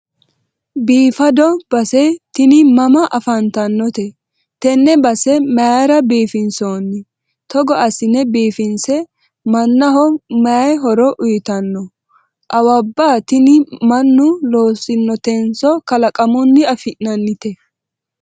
biifado base tini mama afantannote? tenne base mayiira biifinsoonni? togo assine biifisa mannaho mayi horo uyiitanno? awabba tini mannu loosinotenso kalaqamunni afi'nannite?